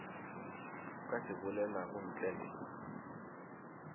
ka se bolelago ntle le